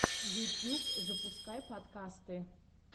ютьюб запускай подкасты